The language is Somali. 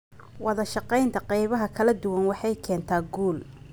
Wadashaqaynta qaybaha kala duwan waxay keentaa guul.